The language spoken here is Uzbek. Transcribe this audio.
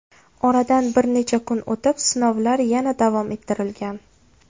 Oradan bir necha kun o‘tib sinovlar yana davom ettirilgan .